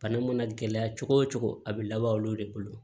Bana mana gɛlɛya cogo o cogo a bɛ laban olu de bolo